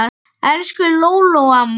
Elsku Lóló amma.